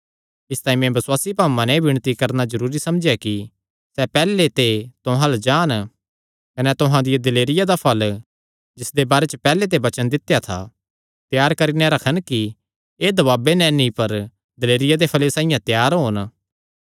इसतांई मैं बसुआसी भाऊआं नैं एह़ विणती करणा जरूरी समझेया कि सैह़ पैहल्ले ते तुहां अल्ल जान कने तुहां दिया दिलेरिया दा फल़ जिसदे बारे च पैहल्ले ते वचन दित्या था त्यार करी नैं रखन कि एह़ दबाबे नैं नीं पर दिलेरिया दे फल़े साइआं त्यार होन